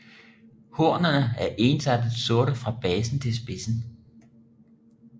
Hornene er ensartet sorte fra basen til spidsen